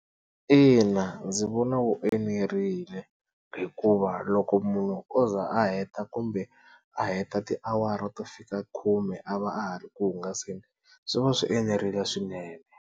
Ina ndzi vona wu enerile, hikuva loko munhu o za a heta kumbe a heta tiawara to fika khume a va a ha ri ku hungasela swi va swi enerile swinene.